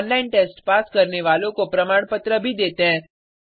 online test pass करने वालों को प्रमाण पत्र भी देते हैं